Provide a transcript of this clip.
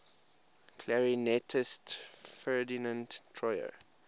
clarinetist ferdinand troyer